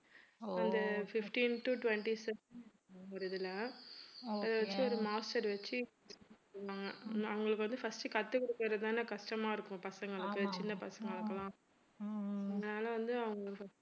அந்த fifteen to twenty ஒரு இதுல அதை வெச்சி ஒரு master வெச்சி அவங்களுக்கு வந்து first கத்துக் குடுக்கிறது தானே கஷ்டமா இருக்கும் பசங்களுக்கு சின்ன பசங்களுக்ககெல்லாம் அதனால வந்து அவங்க